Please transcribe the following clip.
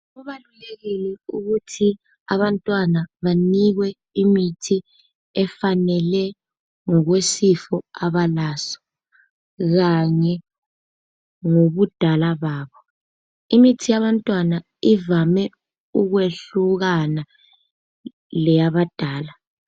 Kubalulekile ukuthi abantwana banikwe imithi efanele ngokwesifo abalaso kanye ngobudala babo. Imithi yabantwana ivame ukwehlukana leyabadala